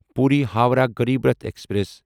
Puri Howrah Garib Rath express